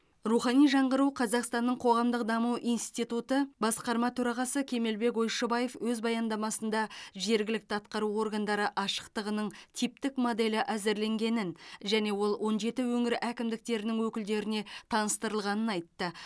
рухани жаңғыру қазақстанның қоғамдық даму институты басқарма төрағасы кемелбек ойшыбаев өз баяндамасында жергілікті атқару органдары ашықтығының типтік моделі әзірленгенін және ол он жеті өңір әкімдіктерінің өкілдеріне таныстырылғанын айтты